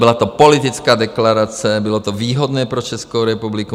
Byla to politická deklarace, bylo to výhodné pro Českou republiku.